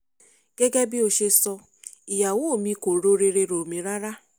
gẹ́gẹ́ bó ṣe sọ ìyàwó mi kò ro rere rọ̀ mí rárá